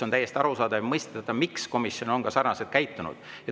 On täiesti arusaadav ja mõistetav, miks komisjon on sarnaselt käitunud.